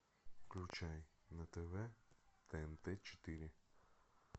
включай на тв тнт четыре